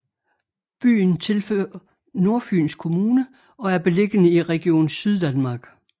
Byen tilhører Nordfyns Kommune og er beliggende i Region Syddanmark